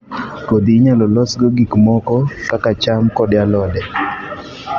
Kodhi inyalo losgo gik moko kaka cham kod alode